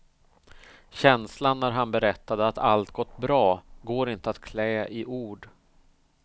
Känslan när han berättade att allt gått bra går inte att klä i ord.